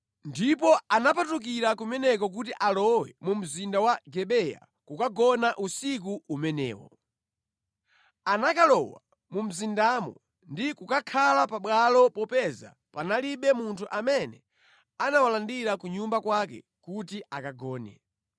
Ndipo anapatukira kumeneko kuti alowe mu mzinda wa Gibeya kukagona usiku umenewo. Anakalowa mu mzindamo ndi kukakhala pabwalo popeza panalibe munthu amene anawalandira ku nyumba kwake kuti akagone.